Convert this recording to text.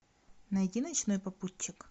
найди ночной попутчик